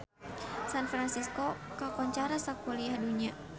San Fransisco kakoncara sakuliah dunya